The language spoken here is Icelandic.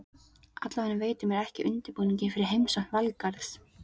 Allavega veitir mér ekki af undirbúningi fyrir heimsókn Valgarðs.